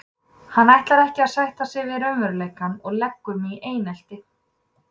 Hann ætlar ekki að sætta sig við raunveruleikann og leggur mig í einelti.